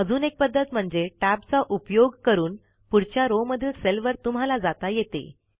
अजून एक पध्दत म्हणजे टॅबचा उपयोग करून पुढच्या रो मधील सेल वर तुम्हाला जाता येते